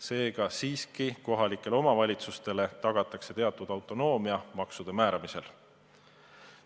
Seega siiski kohalikele omavalitsustele tagatakse teatud autonoomia maksude määramisel.